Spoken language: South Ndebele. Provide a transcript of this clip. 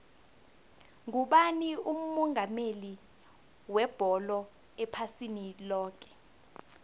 ngubani umongameli webholo ephasini loke